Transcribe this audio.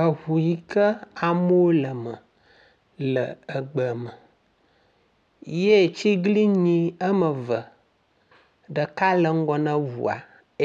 Eŋu yi ke amewo le eme le egbe me ye tsiglinyi eme ve ɖeka le ŋgɔ ne ŋua